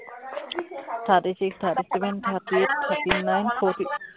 thirty six, thirty seven, thirty eight, thirty nine, fourty